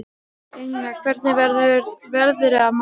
Engla, hvernig verður veðrið á morgun?